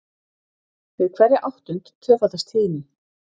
Við hverja áttund tvöfaldast tíðnin.